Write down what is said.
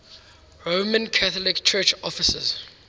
roman catholic church offices